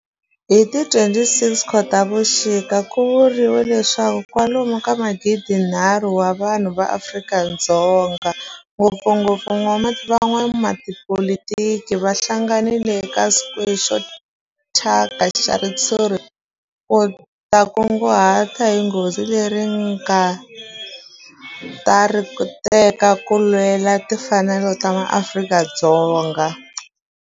Hi ti 26 Khotavuxika ku vuriwa leswaku kwalomu ka magidi-nharhu wa vanhu va Afrika-Dzonga, ngopfungopfu van'watipolitiki va hlanganile eka square xo thyaka xa ritshuri ku ta kunguhata hi goza leri va nga ta ri teka ku lwela timfanelo ta maAfrika-Dzonga.